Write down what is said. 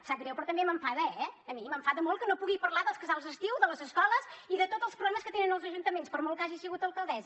sap greu però també m’enfada eh a mi m’enfada molt que no pugui parlar dels casals d’estiu de les escoles i de tots els problemes que tenen els ajuntaments per molt que hagi sigut alcaldessa